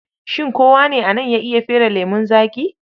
Shin kowa ne a nan ya iya fere lemon zaƙi?